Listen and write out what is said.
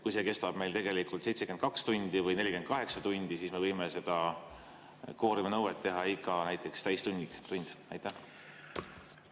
Kui see istung kestab 72 tundi või 48 tundi, kas siis me võime seda kvooruminõude näiteks igal täistunnil?